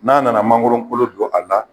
N'an nana mangoro kolo don a la